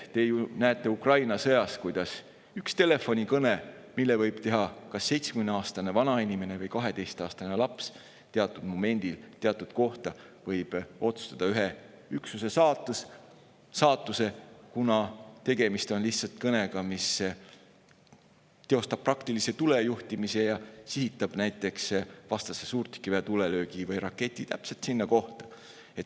Te ju näete Ukraina sõjas, kuidas üks telefonikõne, mille võib teha kas 70‑aastane vanainimene või 12‑aastane laps teatud momendil teatud kohta, võib otsustada ühe üksuse saatuse, kuna tegemist on kõnega, mis teostab praktilise tulejuhtimise ja sihitab näiteks vastase suurtükiväe tulelöögi või raketi täpselt sinna kohta.